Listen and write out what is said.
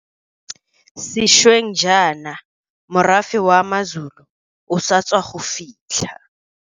Sešweng jaana morafe wa maZulu o sa tswa go fitlha.